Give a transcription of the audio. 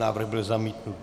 Návrh byl zamítnut.